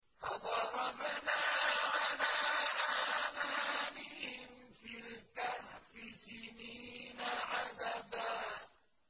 فَضَرَبْنَا عَلَىٰ آذَانِهِمْ فِي الْكَهْفِ سِنِينَ عَدَدًا